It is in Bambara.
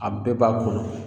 A bɛɛ b'a kɔnɔ